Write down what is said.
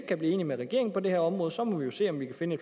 kan blive enige med regeringen på det her område så må vi jo se om vi kan finde